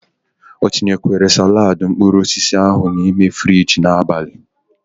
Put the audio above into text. O tinyekwara salaadi mkpuruosisi ahu n'ime Fiji n'abali?